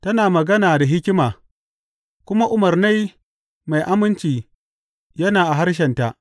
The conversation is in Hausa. Tana magana da hikima, kuma umarnai mai aminci yana a harshenta.